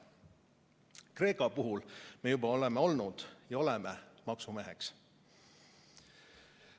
Kreeka puhul me juba oleme olnud ja oleme praegugi maksumeheks.